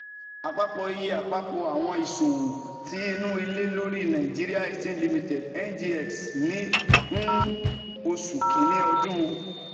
Apapọ iye Apapọ iye awọn iṣowo ti inu ile lori Nigerian Exchange Limited (NGX) ni um Oṣu Kini ọdun